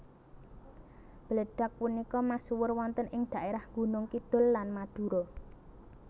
Bledag punika masuwur wonten ing daerah Gunung Kidul lan Madura